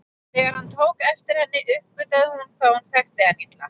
Þegar hann tók eftir henni uppgötvaði hún hvað hún þekkti hann illa.